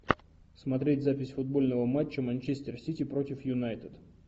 смотреть запись футбольного матча манчестер сити против юнайтед